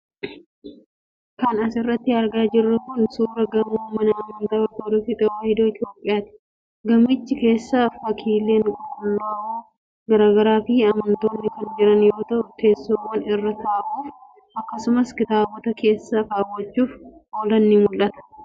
Kan as irratti argaa jirru kun, suura gamoo mana amantaa Ortodooksii Tawaahidoo Itoophiyaati. Gamicha keessa fakkiileen qulqullaa'oo garaa garaa fi amantoonni kan jiran yoo ta'u, teessoowwan irra taa'uuf akkasumas kitaabota keessa kaawachuuf oolan ni mul'atu.